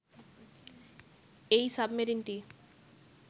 এই সাবমেরিনটি